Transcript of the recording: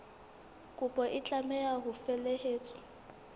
kopo e tlameha ho felehetswa